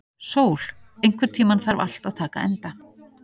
Sól, einhvern tímann þarf allt að taka enda.